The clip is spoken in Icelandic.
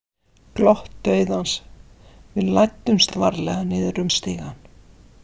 Glott dauðans Við læddumst varlega niður um stigann.